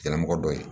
Yira mɔgɔ dɔ ye